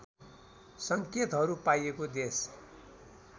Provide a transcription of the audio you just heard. सङ्केतहरू पाइएको देश